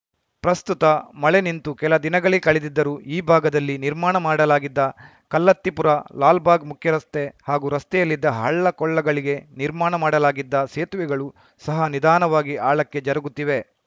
ಪ್ರಸ್ತುತ ಮಳೆ ನಿಂತು ಕೆಲ ದಿನಗಳೇ ಕಳೆದಿದ್ದರೂ ಈ ಭಾಗದಲ್ಲಿ ನಿರ್ಮಾಣ ಮಾಡಲಾಗಿದ್ದ ಕಲ್ಲತ್ತಿಪುರ ಲಾಲ್‌ಬಾಗ್‌ ಮುಖ್ಯ ರಸ್ತೆ ಹಾಗೂ ರಸ್ತೆಯಲ್ಲಿದ್ದ ಹಳ್ಳಕೊಳ್ಳಗಳಿಗೆ ನಿರ್ಮಾಣ ಮಾಡಲಾಗಿದ್ದ ಸೇತುವೆಗಳು ಸಹ ನಿಧಾನವಾಗಿ ಆಳಕ್ಕೆ ಜರುಗುತ್ತಿವೆ